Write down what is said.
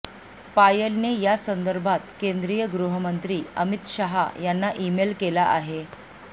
पायलने यासंदर्भात केंद्रीय गृहमंत्री अमित शहा यांना ईमेल केला आहे